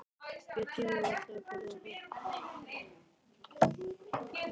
Ég tími varla að borða það.